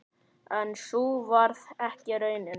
En sú varð ekki raunin.